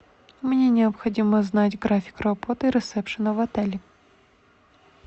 мне необходимо знать график работы ресепшена в отеле